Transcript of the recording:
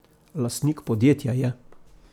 Lastnik podjetja je.